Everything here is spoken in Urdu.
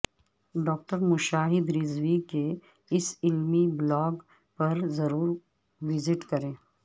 ڈاکٹر مشاہدرضوی کے اس علمی بلاگ پر ضرور وزٹ کریں